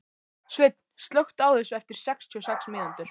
Sveinn, slökktu á þessu eftir sextíu og sex mínútur.